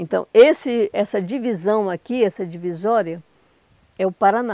Então, esse essa divisão aqui, essa divisória, é o Paraná.